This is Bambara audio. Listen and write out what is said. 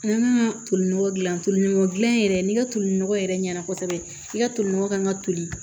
N ka toli nɔgɔ dilan tolinɔgɔ gilan yɛrɛ n'i ka tolinɔgɔ yɛrɛ ɲɛna kosɛbɛ i ka tolinɔgɔ kan ka toli